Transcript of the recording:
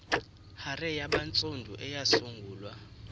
hare yabantsundu eyasungulwa